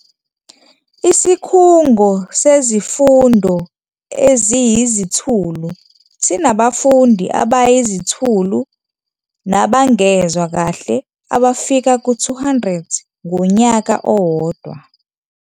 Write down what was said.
Isikhungo Sezifundo Eziyizithulu sinabafundi abayiziThulu nabangezwa kahle abafika ku-200 ngonyaka owodwa.